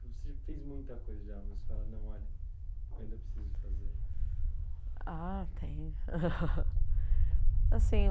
Você já fez muita coisa já, mas fala não olha, ainda precisa fazer. Ah tenho assim